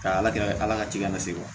Ka ala kɛ ala ka cikɛla lase wa